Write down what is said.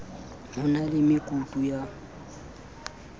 ho na le mekutu ya